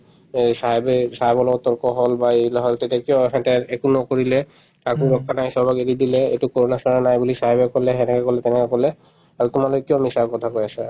এই sahib য়ে sahib ৰ লগত তৰ্কখন বাঢ়িলে হয় তেতিয়া কিয় এখেতে একো নকৰিলে চবক এৰি দিলে কৰোণা-চৰোণা নাই বুলি sahib য়ে কলে সেনেকে কলে তেনেকে কলে আৰু তোমালোকে কিয় মিছা কথা কৈ আছা